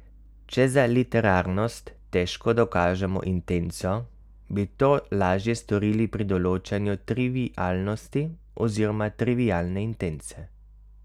Če za literarnost težko dokažemo intenco, bi to lažje storili pri določanju trivialnosti oziroma trivialne intence.